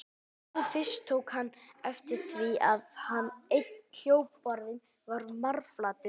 Nú fyrst tók hann eftir því að einn hjólbarðinn var marflatur.